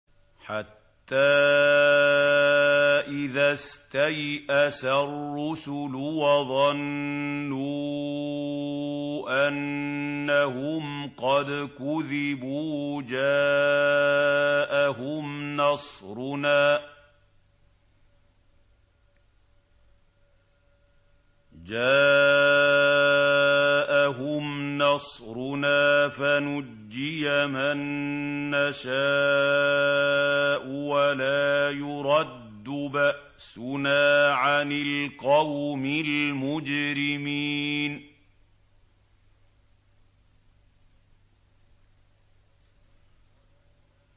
حَتَّىٰ إِذَا اسْتَيْأَسَ الرُّسُلُ وَظَنُّوا أَنَّهُمْ قَدْ كُذِبُوا جَاءَهُمْ نَصْرُنَا فَنُجِّيَ مَن نَّشَاءُ ۖ وَلَا يُرَدُّ بَأْسُنَا عَنِ الْقَوْمِ الْمُجْرِمِينَ